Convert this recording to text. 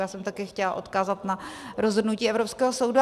Já jsem také chtěla odkázat na rozhodnutí evropského soudu.